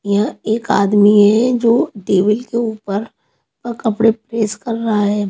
यहाँ एक आदमी है जो टेबल के ऊपर अ कपड़े प्रेस कर रहा है।